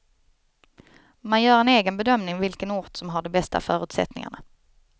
Man gör en egen bedömning vilken ort som har de bästa förutsättningarna.